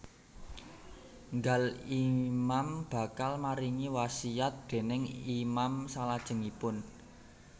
Nggal Imam bakal maringi wasiat déning Imam salajengipun